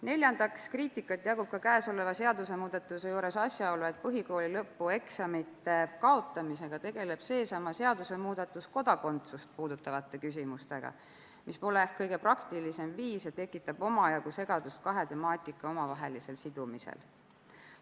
Neljandaks, kriitikat tekitab ka käesoleva seadusemuudatuse juures asjaolu, et lisaks põhikooli lõpueksamite kaotamisele tegeleb seesama seadusemuudatus kodakondsust puudutavate küsimustega, mis pole kõige praktilisem viis ja tekitab omajagu segadust kahe temaatika omavahelisel sidumisel.